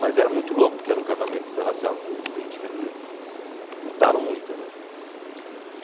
Mas era muito louco, porque era um casamento interracial nos anos vinte, quer dizer, lutaram muito, né?